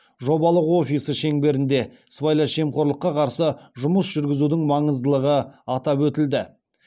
жобалық офисі шеңберінде сыбайлас жемқорлыққа қарсы жұмыс жүргізудің маңыздылығы атап өтілді